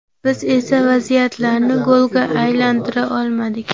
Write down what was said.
Biz esa vaziyatlarni golga aylantira olmadik.